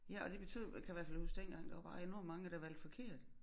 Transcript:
Ja og det betød kan i hvert fald huske dengang der var bare enormt mange der valgte forkert